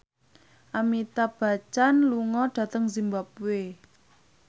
Amitabh Bachchan lunga dhateng zimbabwe